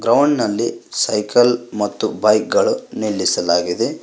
Ground ನಲ್ಲಿ cycle ಮತ್ತು bike ಗಳು ನಿಲ್ಲಿಸಲಾಗಿದೆ.